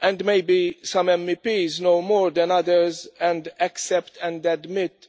and maybe some MEPs know more than others and accept and admit